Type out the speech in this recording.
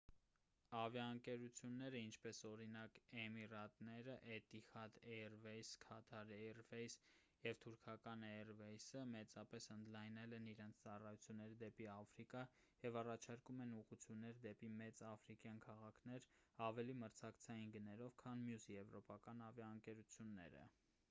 ավիաընկերությունները ինչպես օրինակ էմիրատները էտիհադ էյրվեյսը քաթար էյրվեյսը և թուրքական էյրվեյսը մեծապես ընդլայնել են իրենց ծառայությունները դեպի աֆրիկա և առաջարկում են ուղղություններ դեպի մեծ աֆրիկյան քաղաքներ ավելի մրցակցային գներով քան մյուս եվրոպական ավիաընկերությունները